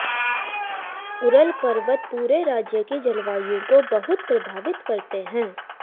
Ural पर्वत पूरे राज्य की जलवायु को बहुत प्रभावित करते हैं